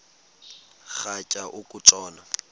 rhatya uku tshona